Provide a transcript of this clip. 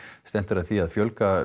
stefnt er að því að fjölga